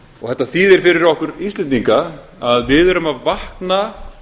þetta þýðir fyrir okkur íslendinga að við erum að vakna